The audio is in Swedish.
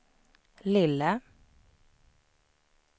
lille